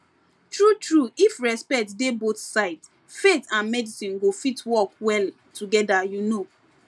true true if respect dey both sides faith and medicine go fit work well together you know